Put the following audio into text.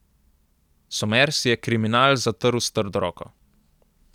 Somers je kriminal zatrl s trdo roko.